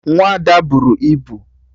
Nwa Ada buru ibu